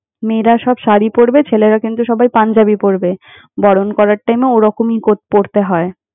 মেয়েরা সব শাড়ী পড়বে, ছেলেরা কিন্তু সবাই পাঞ্জাবী পড়বে। বরণ করার time এ ওরকমই কর~ পড়তে হয়।